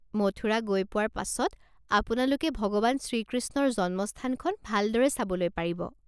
মথুৰা গৈ পোৱাৰ পাছত আপোনালোকে ভগৱান শ্ৰী কৃষ্ণৰ জন্মস্থানখন ভালদৰে চাবলৈ পাৰিব।